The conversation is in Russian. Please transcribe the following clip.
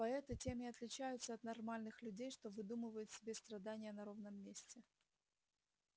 поэты тем и отличаются от нормальных людей что выдумывают себе страдания на ровном месте